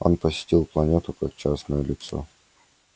он посетил планету как частное лицо